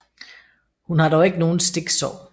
Hun har dog ikke nogen stiksår